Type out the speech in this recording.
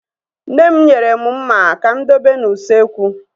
Nne m nyere mụ mma ka mụ dobe n'usekwu